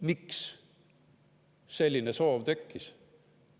Miks selline soov tekkis?